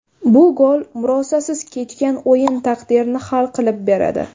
Bu gol murosasiz kechgan o‘yin taqdirini hal qilib beradi.